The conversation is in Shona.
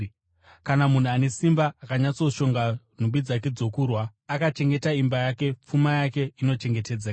“Kana munhu ane simba, akanyatsoshonga nhumbi dzake dzokurwa, akachengeta imba yake, pfuma yake inochengetedzeka.